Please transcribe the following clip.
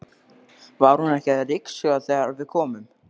Var hún ekki að ryksuga þegar við komum?